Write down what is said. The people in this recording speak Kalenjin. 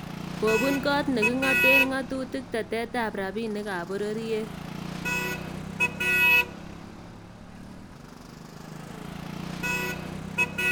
Kobuun koot ne king�aten ng�atutik teteetab rabinikab bororyet